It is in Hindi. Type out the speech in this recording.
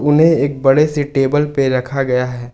उन्हें एक बड़े से टेबल पे रखा गया है।